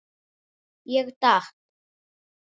Ég datt.